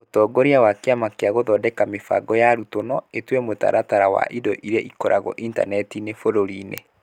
Ũtongoria wa Kĩama gĩa gũthondeka mĩbango ya arutwo no ĩtue mũtaratara wa indo iria ikoragwo intaneti-inĩ bũrũri-inĩ